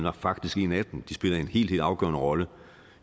er faktisk en af dem eu spiller en helt helt afgørende rolle